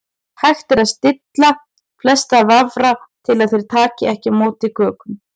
Hægt er að stilla flesta vafra til að þeir taki ekki á móti kökum.